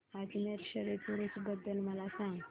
अजमेर शरीफ उरूस बद्दल मला सांग